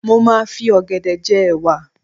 Mo máa ń fi ọ̀gẹ̀dẹ̀ je'wà.